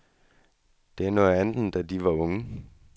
Det er noget andet, end da de var unge.